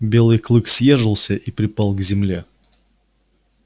белый клык съёжился и припал к земле